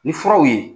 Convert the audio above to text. Ni furaw ye